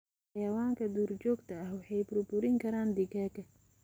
Xayawaanka duurjoogta ah waxay burburin karaan digaagga.